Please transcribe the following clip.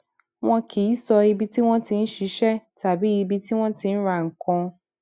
wọn kì í sọ ibi tí wọn ti ń ṣiṣẹ tàbí ibi tí wọn ti ń ra nǹkan